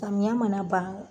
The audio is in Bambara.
Tamiya mana ban